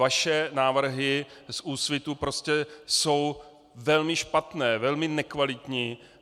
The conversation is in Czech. Vaše návrhy z Úsvitu prostě jsou velmi špatné, velmi nekvalitní.